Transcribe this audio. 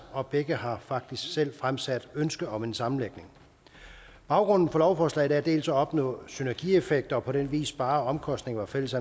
og begge har faktisk selv fremsat ønske om en sammenlægning baggrunden for lovforslaget er dels at opnå synergieffekter og på den vis spare omkostninger og fælles